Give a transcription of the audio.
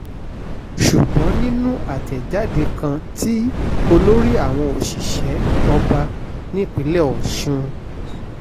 ṣùgbọ́n nínú àtẹ̀jáde kan tí olórí àwọn òṣìṣẹ́ ọba nípìnlẹ̀ ọ̀sùn s